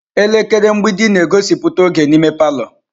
Elekere mgbidi na-egosipụta oge n'ime palọ.